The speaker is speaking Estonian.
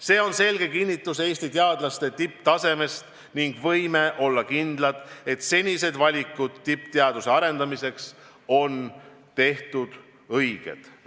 See on selge kinnitus Eesti teadlaste tipptasemest ning võime olla kindlad, et senised valikud tippteaduse arendamiseks on tehtud õigesti.